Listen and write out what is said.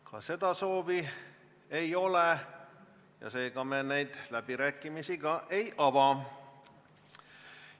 Ka seda soovi ei ole ja seega me läbirääkimisi ei ava.